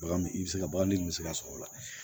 Bagan i bɛ se ka bagaji min bɛ se ka sɔrɔ o la